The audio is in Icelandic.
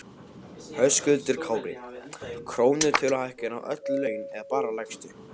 Höskuldur Kári: Krónutöluhækkun á öll laun eða bara lægstu?